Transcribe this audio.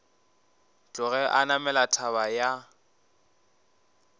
tloge a namela thaba ya